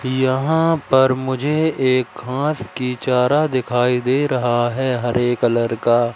यहां पर मुझे एक घांस की चारा दिखाई दे रहा है हरे कलर का।